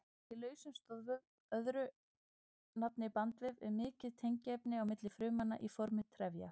Í lausum stoðvef, öðru nafni bandvef, er mikið tengiefni á milli frumnanna í formi trefja.